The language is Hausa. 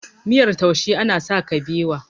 miyar taushe ana sa kabewa